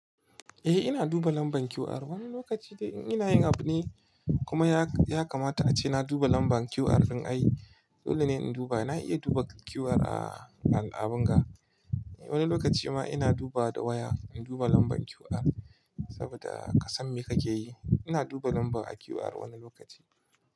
Eh ina duba lambar QR. Wani lokaci dai in ina yin abu ne kuma ya kamata a ce na duba lambar QR don ai dole ne in duba. Na iya duba QR a al'abun ga. Wani lokaci ma ina duba da waya in duba lambar QR saboda ka san me kake yi. Ina duba lamba a QR wani lokaci.